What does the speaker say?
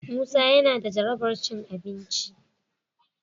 Musa yana da jarabar cin abinci.